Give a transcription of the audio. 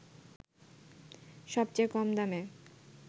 সবচেয়ে কম দামে